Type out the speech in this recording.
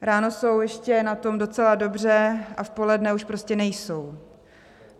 Ráno jsou ještě na tom docela dobře a v poledne už prostě nejsou.